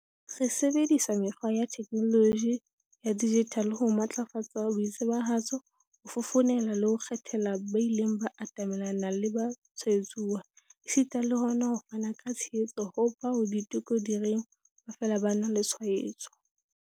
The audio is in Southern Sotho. Re sebedisa mekgwa ya theknoloji ya dijithale ho matlafatsa boitsebahatso, ho fofonela le ho kgethela ba ileng ba atamelana le batshwaetsuwa, esita le hona ho fana ka tshehetso ho bao diteko di reng ba fela ba na le tshwaetso.